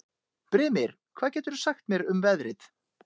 Brimir, hvað geturðu sagt mér um veðrið?